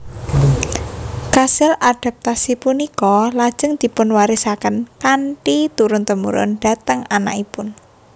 Kasil adaptasi punika lajeng dipunwarisaken kanthi turun temurun dhateng anakipun